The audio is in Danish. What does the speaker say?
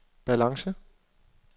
balance